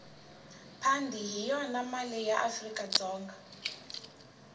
pandi hhiyona male yaafrikadzonga